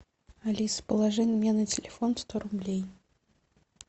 алиса положи мне на телефон сто рублей